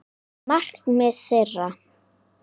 Markmið þeirra.